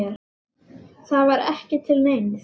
Það var ekki til neins.